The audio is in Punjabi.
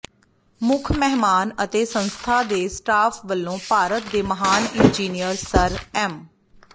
ਮੁੱਖ ਮਹਿਮਾਨ ਅਤੇ ਸੰਸਥਾ ਦੇ ਸਟਾਫ ਵੱਲੋਂ ਭਾਰਤ ਦੇ ਮਹਾਨ ਇੰਜੀਨਿਅਰ ਸਰ ਐਮ